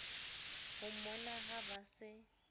ho mmona ha ba se